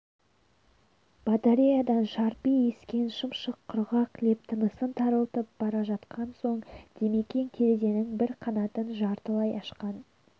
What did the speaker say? батареядан шарпи ескен шым-шым құрғақ леп тынысын тарылтып бара жатқан соң димекең терезенң бір қанатын жартылай ашқан